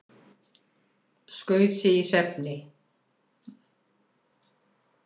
Skaut sig í svefni